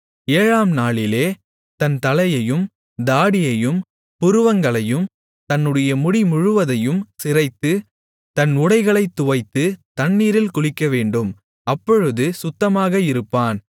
ஏழாம் நாளிலே தன் தலையையும் தாடியையும் புருவங்களையும் தன்னுடைய முடிமுழுவதையும் சிரைத்து தன் உடைகளைத் துவைத்து தண்ணீரில் குளிக்கவேண்டும் அப்பொழுது சுத்தமாக இருப்பான்